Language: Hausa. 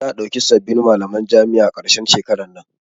Za'a ɗauki sabbin malaman jami'a a karshen shekaran nan.